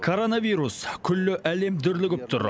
коронавирус күллі әлем дүрлігіп тұр